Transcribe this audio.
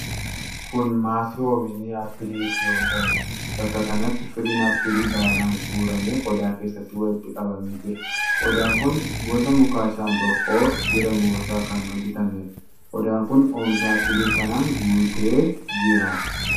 Kun maasii oomishi aappilii itti oomishamuudha. Bakka kanatti firiin aappilii baay'inaan guuramee qodaa keessatti walitti qabamee jira. qodaan kun gosa mukaa shambooqqoo jedhamu irraa kan hojjatameedha. Qodaan kun oomisha aappilii kanaan guutee jira.